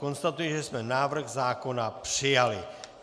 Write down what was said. Konstatuji, že jsme návrh zákona přijali.